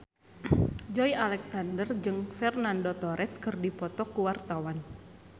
Joey Alexander jeung Fernando Torres keur dipoto ku wartawan